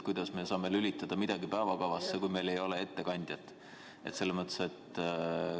Kuidas me saame lülitada midagi päevakorda, kui meil ei ole ettekandjat?